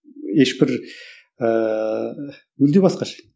ешбір ыыы мүлде басқаша